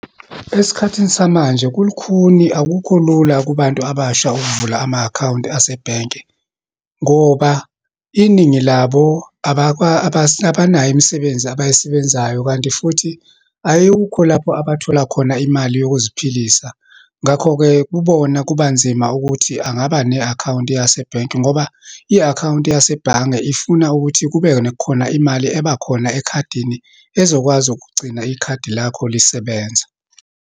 Esikhathini samanje, kulukhuni, akukho lula kubantu abasha ukuvula ama-akhawunti asebhenki. Ngoba iningi labo abanayo imisebenzi abayisebenzayo, kanti futhi ayukho lapho abathola khona imali yokuziphilisa. Ngakho-ke, kubona kubanzima ukuthi angaba ne-akhawunti yase bhenki. Ngoba i-akhawunti yase bhange ifuna ukuthi kube nekhona imali ebakhona ekhadini, ezokwazi ukugcina ikhadi lakho lisebenza.